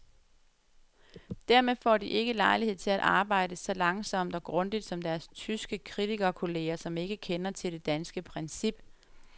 Dermed får de ikke lejlighed til at arbejde så langsomt og grundigt som deres tyske kritikerkolleger, som ikke kender til det danske princip.